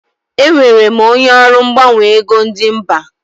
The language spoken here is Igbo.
Enwere m onye ọrụ mgbanwe ego ndi mba.